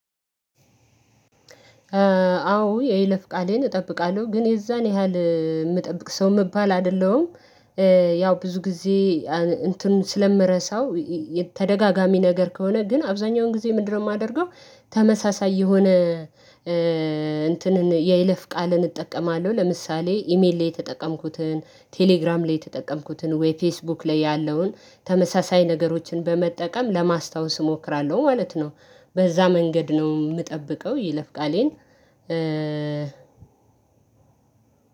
አዎ የይለፍ ቃሌን እጠብቃለሁ ግን የዛን ያህል ምጠብቅ ሰው መባል አይደለሁም። ያው ብዙ ጊዜ እንትን ስለምረሳው። ተደጋጋሚ ነገር ከሆነ ግን አብዛኛውን ጊዜ ምንድነው ማደርገው? ተመሳሳይ የሆነ። እንትንን የይለፍ ቃልን እጠቀማለሁ ለምሳሌ ኢሜሌ የተጠቀምኩትን ቴሌግራም ላይ የተጠቀምኩትን ወይ ፌስቡክ ላይ ያለውን ተመሳሳይ ነገሮችን በመጠቀም ለማስታወስ እሞክራለሁ ማለት ነው። በዛ መንገድ ነው ምጠብቀው ይለፍቃሌን